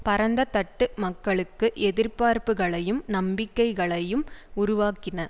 பரந்தத்தட்டு மக்களுக்கு எதிர்பார்ப்புகளையும் நம்பிக்கைகளையும் உருவாக்கின